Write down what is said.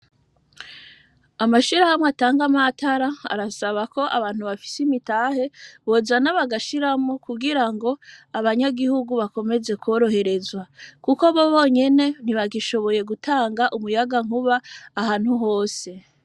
Amashirahamwe atanga amatara, arasaba k'abantu bafise imitahe bozana bagashiramwo, kugira ngo abanyagihugu bakomeze kworoherezwa. Kuko bo, bonyene ntibagishoboye gutanga umuyagankuba ahantu hose.